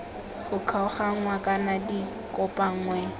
go kgaoganngwa kana di kopanngwe